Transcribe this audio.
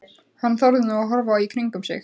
Hann þorði nú að horfa í kringum sig.